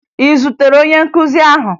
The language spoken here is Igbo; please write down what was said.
Ị zutere onye nkuzi ahụ?